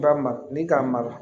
Ba ma ni k'a mara